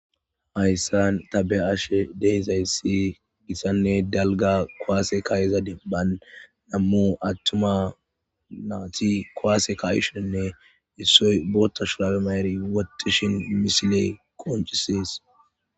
Hayssan tabe ashe deyzayssi gissanne dalga koaase kayeza deban nammu attuma naati koaase kaishonne issoy bootta shulaabe maeri wottishin misile qoncises.